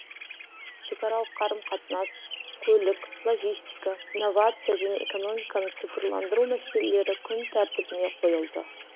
шекаралық қарым қатынас көлік логистика инновация және экономиканы цифрландыру мәселелері күн тәртібіне қойылды